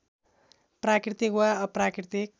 प्राकृतिक वा अप्राकृतिक